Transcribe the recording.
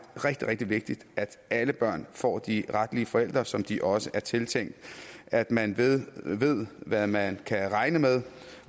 er rigtig rigtig vigtigt at alle børn får de retlige forældre som de også er tiltænkt og at man ved hvad man kan regne med